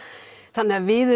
þannig við